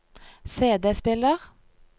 CD-spiller